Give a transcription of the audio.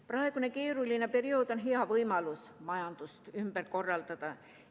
Praegune keeruline periood on hea võimalus majandust ümber korraldada.